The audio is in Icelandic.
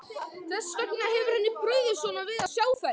Þess vegna hefur henni brugðið svona við að sjá þær.